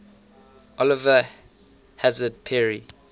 oliver hazard perry